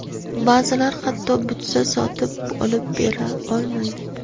Ba’zilar hatto butsa sotib olib bera olmaydi.